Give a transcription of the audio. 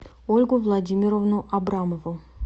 ольгу владимировну абрамову